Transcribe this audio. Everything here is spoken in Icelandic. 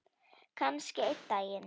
Kannski einn daginn.